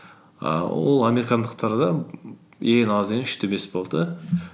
ііі ол американдықтарда ең аз дегені үш те бес болды да